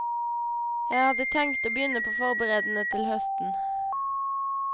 Jeg hadde tenkt å begynne på forberedende til høsten.